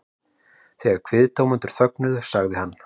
Þegar kviðdómendur þögnuðu sagði hann